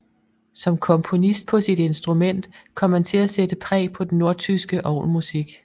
Som komponist på sit instrument kom han til at sætte præg på den nordtyske orgelmusik